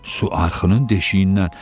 Su arxının deşiyindən.